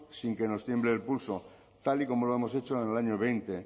haremos sin que nos tiemble el pulso tal y como lo hemos hecho en el año